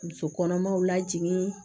Muso kɔnɔmaw lajigin